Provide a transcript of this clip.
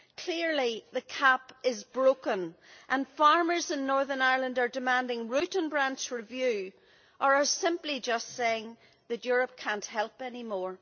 Clearly the CAP is broken and farmers in Northern Ireland are demanding root and branch review or are simply just saying that Europe cannot help anymore.